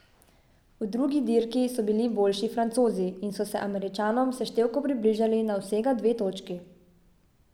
V drugi dirki so bili boljši Francozi in so se Američanom v seštevku približali na vsega dve točki.